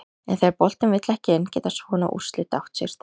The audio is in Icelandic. En þegar boltinn vill ekki inn geta svona úrslit átt sér stað.